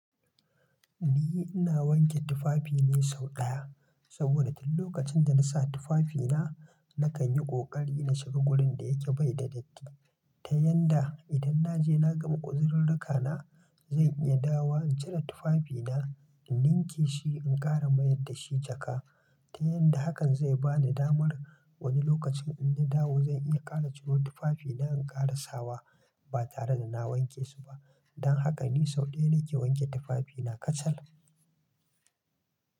Ni ina wanke tufafi ne sau ɗaya, saboda duk lokacin da na sa tufafina, na kan yi ƙoƙari na shiga wurin da yake bai da datti. Ta yanda idan na je na gama uzirurruka na, zan iya dawa in cire tufafina, in ninke shi in ƙara mayar da shi jaka. Ta yanda hakan zai ba ni damar wani lokacin in na dawo zan iya ƙara ciro tufafina in ƙara sawa ba tare da na wanke su ba. Dan haka ni sau ɗaya ne ke wanke tufafina kacal.